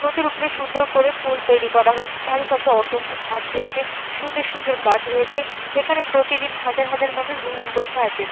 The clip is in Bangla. নদীর উপরে সুন্দর করে পোল তৈরি করা হয়েছে। চারিপাশে অসংখ্য ঘাট রয়েছে। সুন্দর সুন্দর গাছ রয়েছে। এখানে প্রতিদিন হাজার হাজার মানুষ ভ্রমন করতে আসেন।